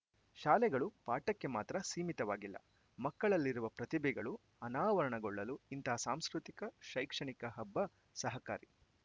ಶಾಲೆಗಳು ಪಾಠಕ್ಕೆ ಮಾತ್ರ ಸೀಮಿತವಾಗಿಲ್ಲ ಮಕ್ಕಳಲ್ಲಿರುವ ಪ್ರತಿಭೆಗಳು ಅನಾವರಣಗೊಳ್ಳಲು ಇಂತಹ ಸಾಂಸ್ಕೃತಿಕ ಶೈಕ್ಷಣಿಕ ಹಬ್ಬ ಸಹಕಾರಿ